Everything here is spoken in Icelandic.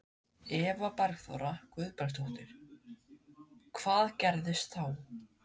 Eva Bergþóra Guðbergsdóttir: Hvað gerðist þá?